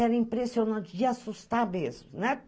Era impressionante, ia assustar mesmo, né?